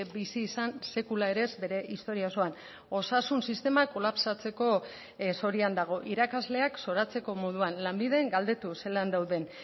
bizi izan sekula ere ez bere historia osoan osasun sistema kolapsatzeko zorian dago irakasleak zoratzeko moduan lanbiden galdetu zelan dauden